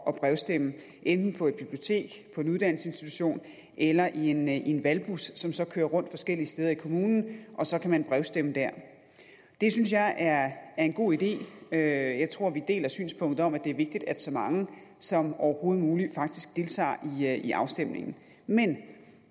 at brevstemme enten på et bibliotek på en uddannelsesinstitution eller i en en valgbus som så kører rundt forskellige steder i kommunen og så kan man brevstemme dér det synes jeg er en god idé jeg jeg tror vi deler synspunktet om at det er vigtigt at så mange som overhovedet muligt faktisk deltager i afstemningen men